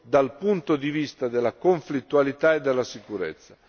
dal punto di vista della conflittualità e della sicurezza.